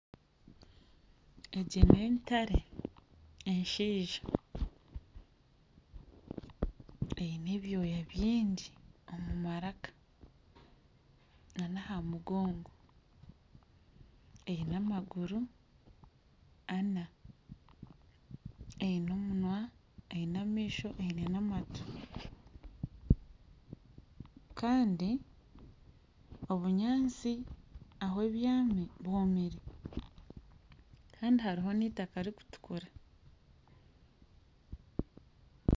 Egi n'entare enshaija eine ebyoya byingi aha maraka, nana aha mugongo eine amaguru ana, eine omunwa eine n'amaisho eine n'amatu kandi obunyaatsi ahu ebyami bwomire kandi hariho n'eitaka ririkutukura